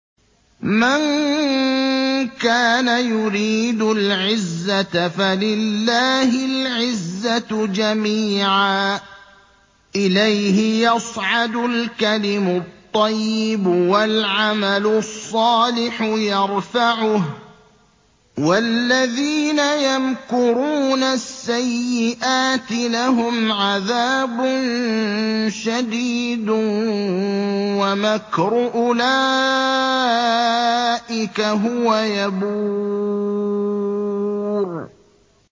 مَن كَانَ يُرِيدُ الْعِزَّةَ فَلِلَّهِ الْعِزَّةُ جَمِيعًا ۚ إِلَيْهِ يَصْعَدُ الْكَلِمُ الطَّيِّبُ وَالْعَمَلُ الصَّالِحُ يَرْفَعُهُ ۚ وَالَّذِينَ يَمْكُرُونَ السَّيِّئَاتِ لَهُمْ عَذَابٌ شَدِيدٌ ۖ وَمَكْرُ أُولَٰئِكَ هُوَ يَبُورُ